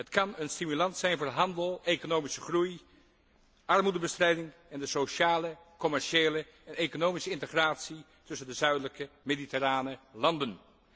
Het kan een stimulans zijn voor de handel, de economische groei, de armoedebestrijding en de sociale, commerciële en economische integratie tussen de zuidelijke mediterrane landen.